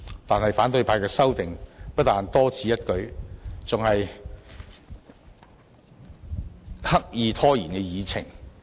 但是，反對派的修訂不但多此一舉，而且刻意拖延議程。